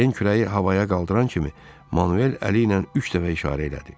Den kürəyi havaya qaldıran kimi Manuel əli ilə üç dəfə işarə elədi.